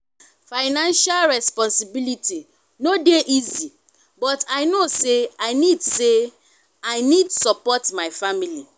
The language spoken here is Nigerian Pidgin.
financial responsibility no dey easy but i know say i need say i need support my family.